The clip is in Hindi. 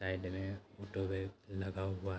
साइड में ऑटो भी लगा हुआ --